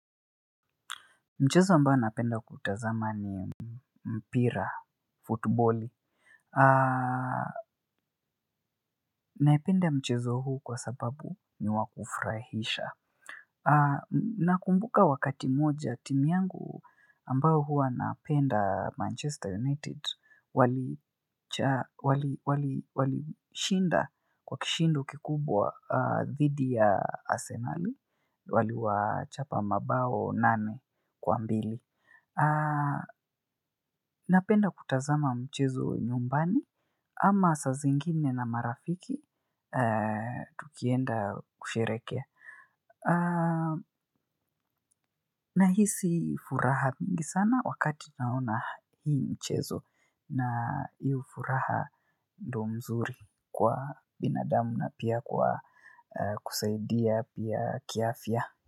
Mchezo ambayo napenda kutazama ni mpira, futboli. Naipenda mchezo huu kwa sababu niwaa kufrahisha. Nakumbuka wakati moja timu yangu ambao hua napenda Manchester United wali. Walishinda kwa kishindo kikubwa aah dhidi ya Arsenali. Wali wachapa mabao nane kwa mbili. Aah. Napenda kutazama mchezo nyumbani ama sa zingine na marafiki eeh tukienda kusherekea aah. Nahisi furaha mingi sana wakati naona hii mchezo na hio furaha ndo mzuri kwa binadamu na pia kwa eh kusaidia pia kiafya.